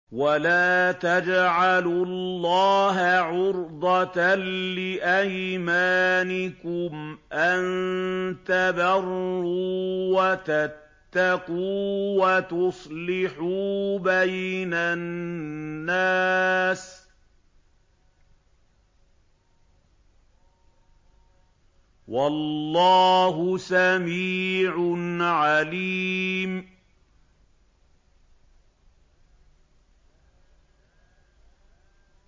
وَلَا تَجْعَلُوا اللَّهَ عُرْضَةً لِّأَيْمَانِكُمْ أَن تَبَرُّوا وَتَتَّقُوا وَتُصْلِحُوا بَيْنَ النَّاسِ ۗ وَاللَّهُ سَمِيعٌ عَلِيمٌ